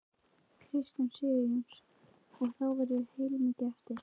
Kristján Sigurjónsson: Og þá verður heilmikið eftir?